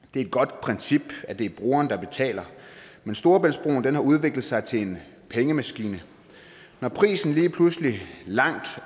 det er et godt princip at det er brugeren der betaler men storebæltsbroen har udviklet sig til en pengemaskine når prisen lige pludselig langt